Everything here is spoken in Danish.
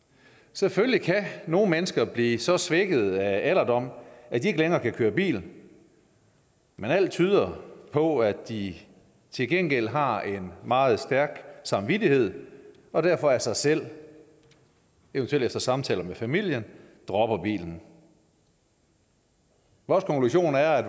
selvfølgelig kan nogle mennesker blive så svækkede af alderdom at de ikke længere kan køre bil men alt tyder på at de til gengæld har en meget stærk samvittighed og derfor af sig selv eventuelt efter samtale med familien dropper bilen vores konklusion er at